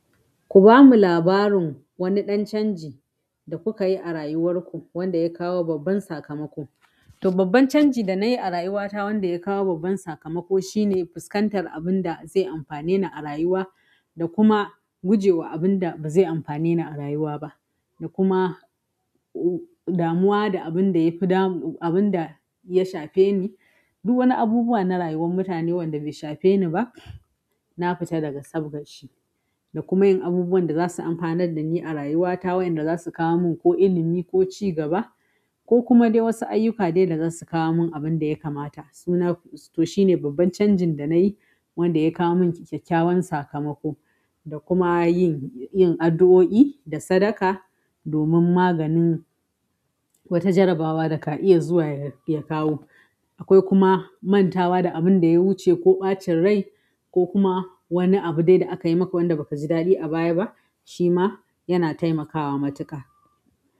Ku bamu labarin wani ɗan canji da kuka yi a rayuwar ku wanda ya kawo babban sakamako. To babban canji da na yi a rayuwata wanda ya kawo babban sakamako shine fuskantar abin da zai amfane ni a rayuwa da kuma gujewa abin da ba zai amfane ni a rayuwa ba. Da kuma damuwa da abin da ya fi damu abin da ya shafe ni. Duk wani abubuwa na rayuwar mutane wanda bai shafe ni ba, na fita daga sabgar shi. Da kuma yin abubuwan da za su amfanar da ni a rayuwata wa'yanda za su kawo mun ko ilimi ko cigaba ko kuma dai wasu ayyuka dai da za su kawo mun abin da ya kamata. Suna to shine babban canjin da na yi wanda ya kawo mun kyakkyawan sakamako. Da kuma yin yin addu'o'i da sadaka domin maganin wata jarabawa da ka iya zuwa ya ya kawo. Akwai kuma mantawa da abin da ya wuce ko ɓacin rai ko kuma wani abu dai da aka yi maka wanda ba ka ji daɗi a baya ba, shi ma yana taimakawa matuƙa.